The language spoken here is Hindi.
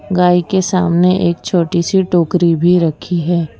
गाय के सामने एक छोटी सी टोकरी भी रखी है।